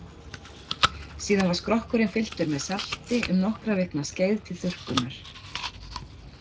Síðan var skrokkurinn fylltur með salti um nokkra vikna skeið til þurrkunar.